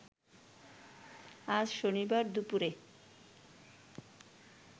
আজ শনিবার দুপুরে